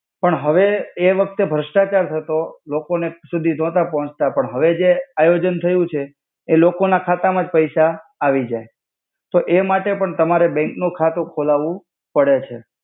પણ હવે એ વખ્તે ભ્રસ્તાચાર થતો. લોકો ને સુધી નોતા પોહોચ્તા પણ હવે જે આયોજન થયુ છે એ લોકો ના ખાતા મા જ પૈસા આવિજાય. તો એ માટેપણ તમારે બેંક નુ ખાતુ ખોલાવુ પડે છે.